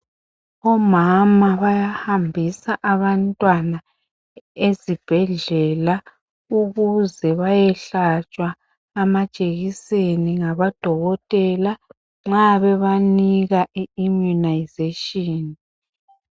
Omama bayahambisa abantwana ezibhedlela ukuze bayehlatshwa amajekiseni ngabo dokotela nxa bebanika i- immunization.